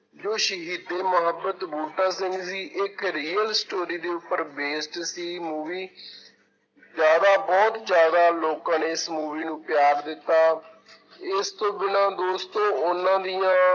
ਜੋ ਸ਼ਹੀਦ-ਏ-ਮੁਹੱਬਤ ਬੂਟਾ ਸਿੰਘ ਸੀ ਇੱਕ real story ਦੇ ਉਪਰ based ਸੀ movie ਜ਼ਿਆਦਾ ਬਹੁਤ ਜ਼ਿਆਦਾ ਲੋਕਾਂ ਨੇ ਇਸ movie ਨੂੰ ਪਿਆਰ ਦਿੱਤਾ ਇਸ ਤੋਂ ਬਿਨਾਂ ਦੋਸਤੋ ਉਹਨਾਂ ਦੀਆਂ